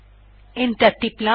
enter টিপলাম